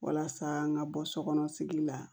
Walasa an ka bɔ sokɔnɔ sigi la